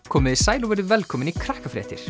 komiði sæl og verið velkomin í